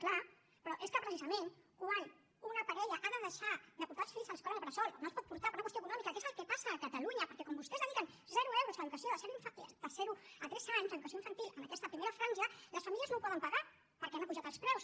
clar però és que precisament quan una parella ha de deixar de portar els fills a l’escola bressol no els pot portar per una qüestió econòmica que és el que passa a catalunya perquè com que vostès dediquen zero euros a l’educació de zero a tres anys l’educació infantil en aquesta primera franja les famílies no ho poden pagar perquè han apujat els preus